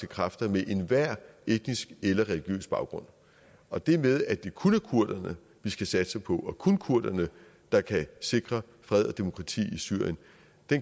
kræfter med enhver etnisk eller religiøs baggrund og det med at det kun er kurderne vi skal satse på og kun kurderne der kan sikre fred og demokrati i syrien